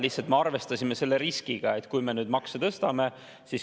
Lihtsalt me arvestasime selle riskiga, et kui me makse tõstame.